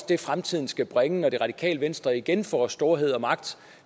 det fremtiden skal bringe når det radikale venstre igen får storhed og magt